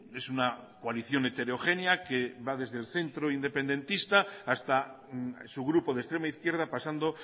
es una coalición heterogénea que va desde el centro independentista hasta su grupo de extrema izquierda pasando